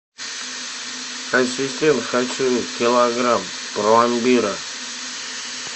ассистент хочу килограмм пломбира